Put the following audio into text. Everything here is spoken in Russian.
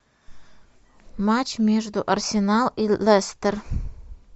матч между арсенал и лестер